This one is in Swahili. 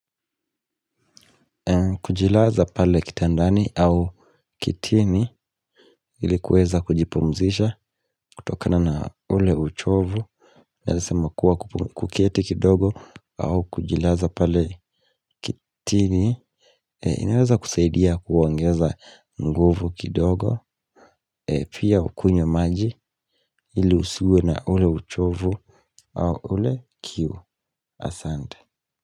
Kujilaza pale kitandani au kitini ili kuweza kujipumzisha kutokana na ule uchovu. Naweza sema kuwa kuketi kidogo au kujilaza pale kitini inaweza kusaidia kuongeza nguvu kidogo. Pia hukunywa maji ili usiwe na ule uchovu au ule kiu, asante.